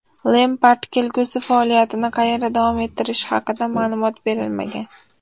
Lempard kelgusi faoliyatini qayerda davom ettirishi haqida ma’lumot berilmagan.